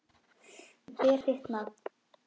Ég ber þitt nafn.